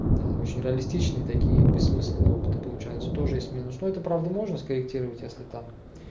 очень реалистичные такие бессмысленные опыты получаются тоже есть минус но это правда можно скорректировать если там